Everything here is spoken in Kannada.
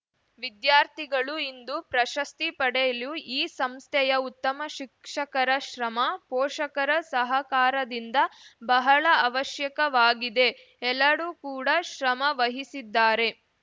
ವಿದ್ಯಾರ್ಥಿಗಳು ಇಂದು ಪ್ರಶಸ್ತಿ ಪಡೆಯಲು ಈ ಸಂಸ್ಥೆಯ ಉತ್ತಮ ಶಿಕ್ಷಕರ ಶ್ರಮ ಪೋಷಕರ ಸಹಕಾರದಿಂದ ಬಹಳ ಅವಶ್ಯಕವಾಗಿದೆ ಎಲ್ಲರೂ ಕೂಡಾ ಶ್ರಮವಹಿಸಿದ್ದಾರೆ